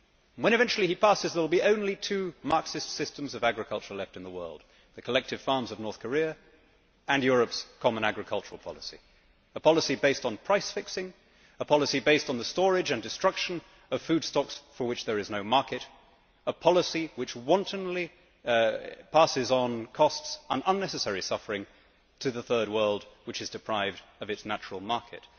When eventually he passes, there will be only two Marxist systems of agriculture left in the world the collective farms of North Korea and Europe's common agricultural policy, a policy based on price fixing, a policy based on the storage and destruction of food stocks for which there is no market, a policy which wantonly passes on costs and unnecessary suffering to the Third World, which is deprived of its natural market.